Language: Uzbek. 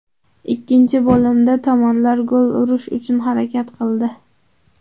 Ikkinchi bo‘limda tomonlar gol urish uchun harakat qildi.